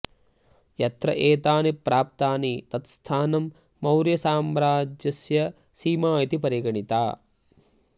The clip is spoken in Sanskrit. यत्र एतानि प्राप्तानि तत् स्थानं मौर्यसाम्र्अज्यस्य सीमा इति परिगणिता